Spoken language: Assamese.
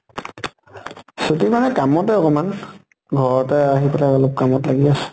ছুটি মানে কামতে অকমান। ঘৰতে আহি পেলে অলপ কামত লাগি আছো।